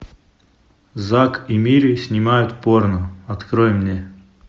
зак и мири снимают порно открой мне